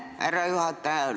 Aitäh, härra juhataja!